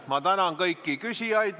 Ma tänan kõiki küsijaid!